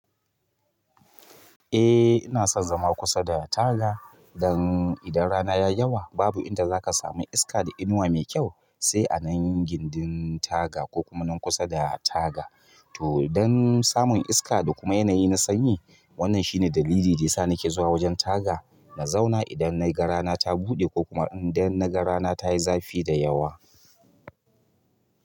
Eh ina son zama kusa da taga dan idan rana ya yi yawa babu inda za ka samu iska da inuwa mai kyau sai a nan gindin taga ko kuma nan kusa da taga. To dan samun iska da kuma yanayi na sanyi wannan shine dalili da ya sa nake zuwa wajen taga na zauna idan na ga rana ta buɗe ko kuma idan na ga rana ta yi zafi da yawa.